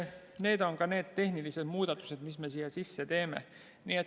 Need on need tehnilised muudatused, mis me teeme.